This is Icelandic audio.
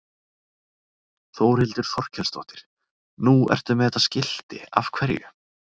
Þórhildur Þorkelsdóttir: Nú ertu með þetta skilti, af hverju?